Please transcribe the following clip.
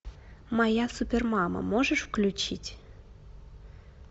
моя супермама можешь включить